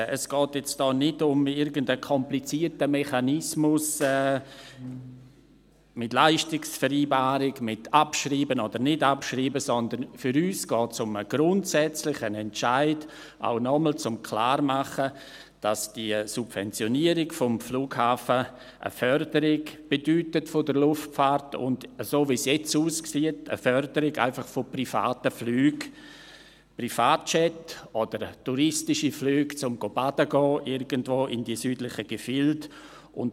Es geht hier nicht um einen komplizierten Mechanismus mit Leistungsvereinbarung, mit Abschreiben oder nicht Abschreiben, sondern für uns geht es um einen grundsätzlichen Entscheid, auch, um noch einmal klarzumachen, dass die Subventionierung des Flughafens eine Förderung der Luftfahrt bedeutet und, so wie es jetzt aussieht, einfach eine Förderung von privaten Flügen, Privatjets oder touristischen Flüge, um in die südlichen Gefilde baden zu gehen.